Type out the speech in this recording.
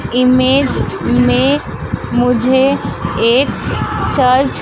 image में मुझे एक चर्च --